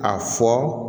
A fɔ